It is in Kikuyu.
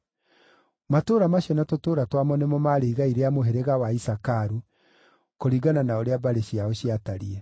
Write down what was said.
Matũũra macio na tũtũũra twamo nĩmo maarĩ igai rĩa mũhĩrĩga wa Isakaru, kũringana na ũrĩa mbarĩ ciao ciatariĩ.